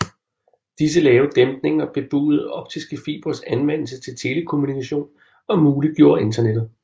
Disse lave dæmpninger bebudede optiske fibres anvendelse til telekommunikation og muliggjorde internettet